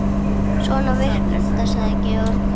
Svona virkar þetta, sagði Georg.